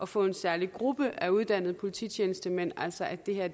få en særlig gruppe af uddannede polititjenestemænd altså at det her